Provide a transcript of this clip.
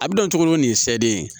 A bɛ don cogo ni nin ye seden ye